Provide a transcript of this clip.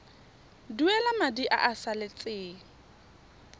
duela madi a a salatseng